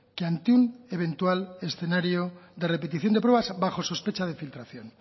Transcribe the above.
que ante un eventual escenario de repetición de pruebas bajo sospecha de filtración